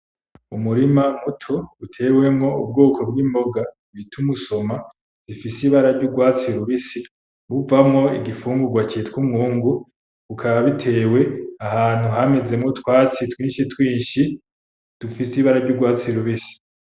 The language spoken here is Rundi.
Umurima muto utewemwo ubwoko bwi mboga bita umusoma ifise ibara ry'urwatsi rubisi ruvamo igifungugwa citwa umwungu bikaba bitewe ahantu hamezemo utwatsi twinshi twinshi dufise ibara ry'urwatsi rubisi.